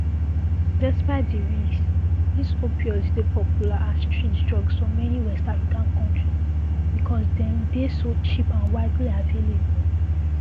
despite di risks dis opioids dey popular as street drugs for many west african countries because dem dey so cheap and widely available